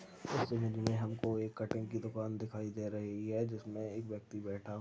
मे हमको एक कटिंग की दुकान दिखाई दे रही है जिसमे एक व्यक्ति बैठा--